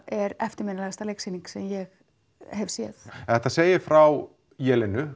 er eftirminnilegasta leiksýning sem ég hef séð þetta segir frá